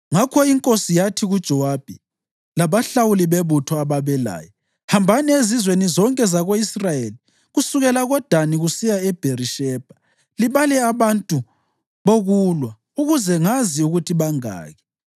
Ngakho inkosi yathi kuJowabi labalawuli bebutho ababelaye, “Hambani ezizweni zonke zako-Israyeli kusukela koDani kusiya eBherishebha libhale abantu bokulwa, ukuze ngazi ukuthi bangaki.”